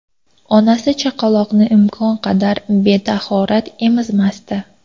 Onasi chaqaloqni imkon qadar betahorat emizmasdi.